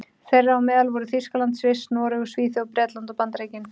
Þeirra á meðal voru Þýskaland, Sviss, Noregur, Svíþjóð, Bretland og Bandaríkin.